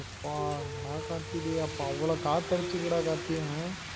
எப்பா என்னடா கார்த்தி டேய் அப்போ அவ்வளா காத்து அடிச்சிருக்கு டா கார்த்தி அஹ்